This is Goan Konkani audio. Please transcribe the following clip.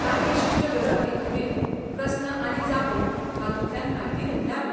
कांय विशिश्ट गजालींखातीर प्रस्न आनी जापो हातूंतल्यान म्हायती घेतले आमी.